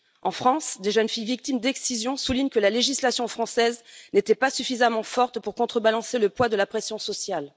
En France, des jeunes filles victimes d'excision soulignent que la législation française n'était pas suffisamment forte pour contrebalancer le poids de la pression sociale.